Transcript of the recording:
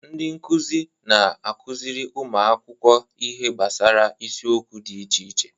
Ndị nkuzi na-akụziri ụmụ akwụkwọ ihe gbasara isiokwu dị iche iche